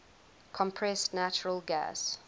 compressed natural gas